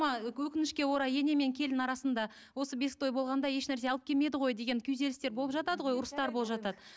өкінішке орай ене мен келін арасында осы бесік той болғанда еш нәрсе алып келмеді ғой деген күйзелістер болып жатады ғой ұрыстар болып жатады